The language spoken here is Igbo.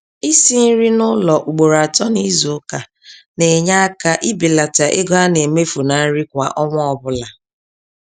Isi nri n'ụlọ ugboro atọ n'izuka na-enye aka ibelata ego a na-emefu na nri kwa ọnwa ọbụla.